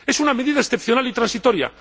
Es una medida excepcional y transitoria.